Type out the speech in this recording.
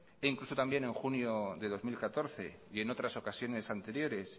incluso también en junio de dos mil catorce y en otras ocasiones anteriores